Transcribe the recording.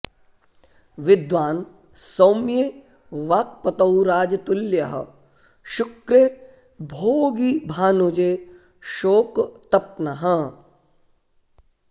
विद्वान् सौम्ये वाक्पतौ राजतुल्यः शुक्रे भोगी भानुजे शोकतप्नः